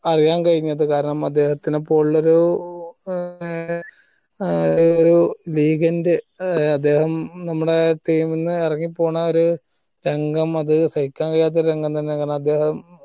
അറിയാൻ കഴിഞ്ഞത് കാരണം അദ്ദേഹത്തെ പോലുള്ളൊരു ഏർ ആ ഏർ ഒരു legend ഏർ അദ്ദേഹം നമ്മിടെ team ന്ന് എറങ്ങി പോണ ഒരു രംഗം അത് സഹിക്കാൻ കഴിയാത്ത ഒരു രംഗം തന്നെ ആണ് അതദ്ദേഹം